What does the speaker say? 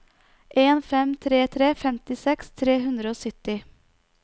en fem tre tre femtiseks tre hundre og sytti